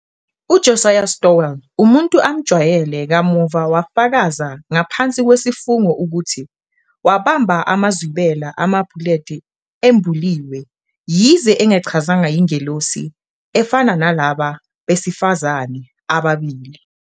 UJosiah Stowell, umuntu amjwayele, kamuva wafakaza ngaphansi kwesifungo ukuthi wabamba amazwibela amapuleti embuliwe, yize engachazanga ingelosi efana nalaba besifazane ababili.